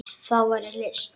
Það væri list.